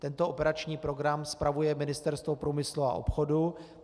Tento operační program spravuje Ministerstvo průmyslu a obchodu.